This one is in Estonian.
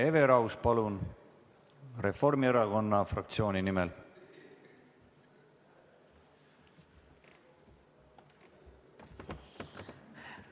Hele Everaus Reformierakonna fraktsiooni nimel, palun!